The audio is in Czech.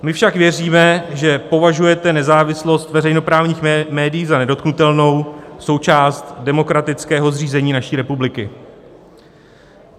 My však věříme, že považujete nezávislost veřejnoprávních médií za nedotknutelnou součást demokratického zřízení naší republiky.